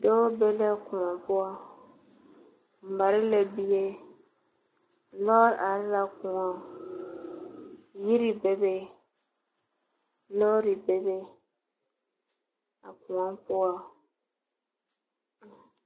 Dɔɔ be la koɔ poɔ a mare la bie lɔre are la koɔŋ yiri bebe lɔre bebe a koɔŋ poɔŋ.